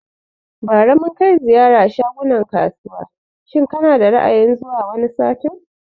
Bari mun kai ziyara shagunan kasuwa shin kana da Ra'ayin zuwa wani satin?